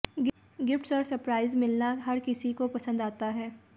gifts और surprise मिलना हर किसी को पसंद आता है